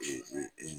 Ee